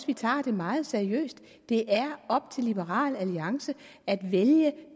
vi tager det meget seriøst det er op til liberal alliance at vælge